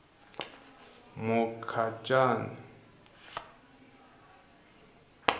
mukhacani